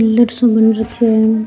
साे हो रखियो है।